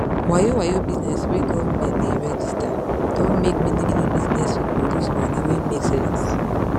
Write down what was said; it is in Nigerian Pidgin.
wayowayo bizness wey govment ne register don make manymany bizness people loss money wey make sense